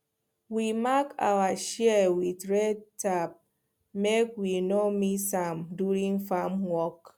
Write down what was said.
we mark our shears with red tape make we no mix am during farm work